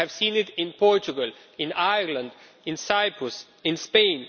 We have seen it in Portugal, in Ireland, in Cyprus, in Spain.